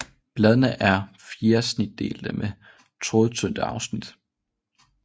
Bladene er fjersnitdelte med trådtynde afsnit